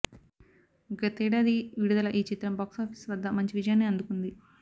గతేడాది విడుదల ఈ చిత్రం బాక్సాఫీస్ వద్ద మంచి విజయాన్ని అందుకుంది